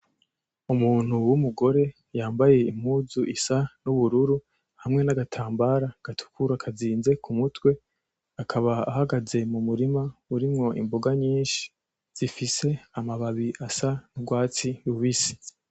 Umuntu w'umugore yambaye impuzu isa n'ubururu hamwe nagatambara gatukura kazinze ku mutwe akaba ari mumurima urimwo imboga nyinshi zifise amababi asa n'urwatsi rubisi.